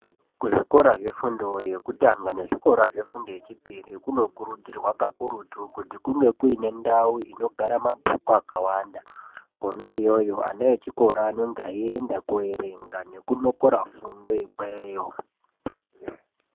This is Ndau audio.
Kuzvikora zvefundo yekutanga nezvikora zvefundo yechipiri kunokurudzirwa kakurutu kuti kunge kuine ndau dzinogara mabhuku akawanda. Kona iyoyo ana echikora anenge eienda koerenga nekunokora fundo ikweyo.